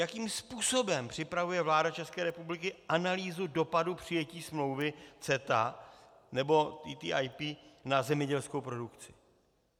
Jakým způsobem připravuje vláda České republiky analýzu dopadu přijetí smlouvy CETA nebo TTIP na zemědělskou produkci?